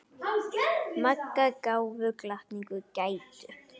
Magga gáfu gatinu gætur.